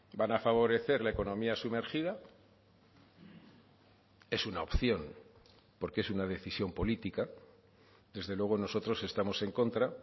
van a favorecer la economía sumergida es una opción porque es una decisión política desde luego nosotros estamos en contra